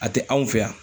A tɛ anw fɛ yan